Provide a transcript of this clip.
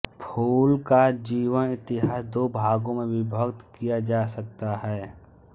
फूल का जीवनेतिहास दो भागों में विभक्त किया जा सकता है